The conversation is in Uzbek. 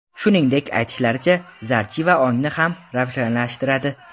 Shuningdek, aytishlaricha zarchiva ongni ham ravshanlashtiradi.